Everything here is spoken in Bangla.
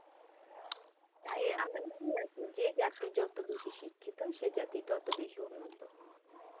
যে জাতি যত বেশি শিক্ষিত সেই জাতি ততো বেশি উন্নত